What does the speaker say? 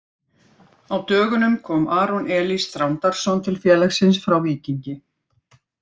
Á dögunum kom Aron Elís Þrándarson til félagsins frá Víkingi.